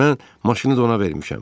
Mən maşını da ona vermişəm.